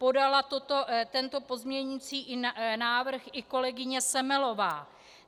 Podala tento pozměňující návrh i kolegyně Semelová.